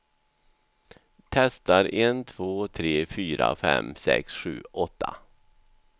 Testar en två tre fyra fem sex sju åtta.